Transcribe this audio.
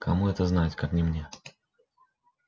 кому это знать как не мне